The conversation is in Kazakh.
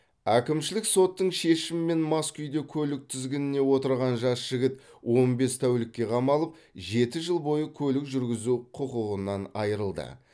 әкімшілік соттың шешімімен мас күйде көлік тізгінінен отырған жас жігіт он бес тәулікке қамалып жеті жыл бойы көлік жүргізу құқығынан айырылды